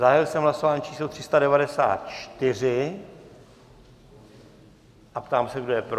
Zahájil jsem hlasování číslo 394 a ptám se, kdo je pro?